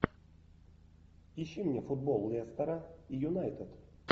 ищи мне футбол лестера и юнайтед